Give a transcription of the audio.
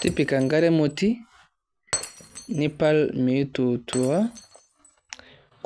Tipika enkare emoti, nipal meitutua,